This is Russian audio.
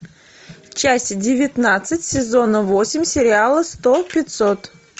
часть девятнадцать сезона восемь сериала сто пятьсот